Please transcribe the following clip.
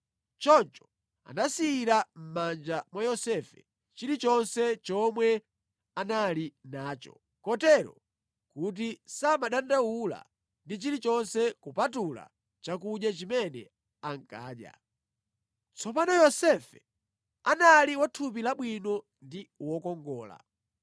Choncho anasiyira mʼmanja mwa Yosefe chilichonse chomwe anali nacho, kotero kuti samadandaula ndi chilichonse kupatula chakudya chimene ankadya. Tsopano Yosefe anali wa thupi labwino ndi wokongola.